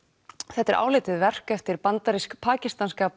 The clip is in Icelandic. þetta er áleitið verk eftir eftir bandarísk pakistanska